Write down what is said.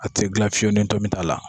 A te gilan fiyewu ni tomi t'a la